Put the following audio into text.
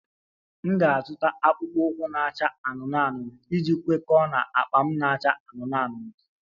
M ga-azụta akpụkpọ ụkwụ na-acha anụnụ anụnụ iji kwekọọ na akpa m na-acha anụnụ anụnụ